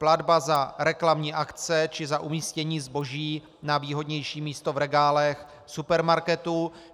Platba za reklamní akce či za umístění zboží na výhodnější místo v regálech supermarketu.